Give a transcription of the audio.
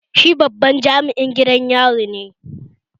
Shi babban jami'in gidan yari ne